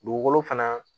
Dugukolo fana